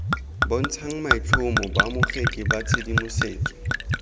bontshang maitlhomo baamogedi ba tshedimosetso